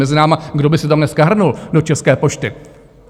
Mezi námi, kdo by se tam dneska hrnul do České pošty?